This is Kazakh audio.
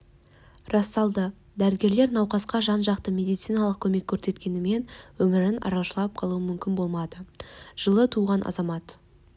расталды дәрігерлер науқасқа жан-жақты медициналық көмек көрсеткенімен өмірін арашалап қалу мүмкін болмады жылы туған азамат